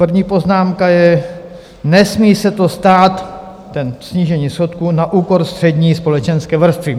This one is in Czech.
První poznámka je: Nesmí se to stát - to snížení schodku - na úkor střední společenské vrstvy.